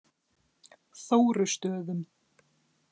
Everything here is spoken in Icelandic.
Þórustöðum